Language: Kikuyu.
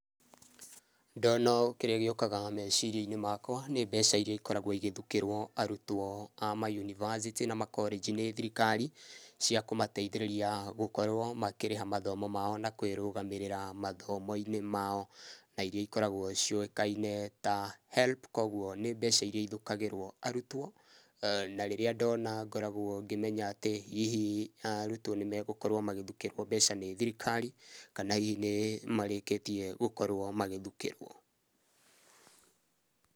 Ndona ũũ kĩrĩa gĩũkaga meciria-inĩ makwa nĩ mbeca iria ikoragũo igĩthũkĩrwo arutwo a ma university na ma collage nĩ thirikari cia kũmateithĩrĩria gũkorũo makĩrĩha mathomo mao na kũĩrũgamĩrĩra mathomo-inĩ mao na iria ikoragũo ciũkaine ta HELB koguo ni mbeca iria ithukagirwo arutwo na rĩrĩa ndona ngoragũo ngĩmenya atĩ hihi arũtwo nĩmagũkorũo magĩthukĩrũo mbeca nĩ thirikari kana ni marĩkĩtie gũkorwo magĩthũkĩrwo.